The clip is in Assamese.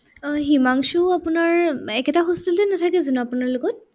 আহ হিমাংশু আপোনাৰ উম একেটা hostel তে নাথাকে জানো আপোনাৰ লগত?